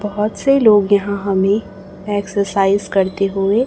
बहोत से लोग यहां हमें एक्सरसाइज करते हुए--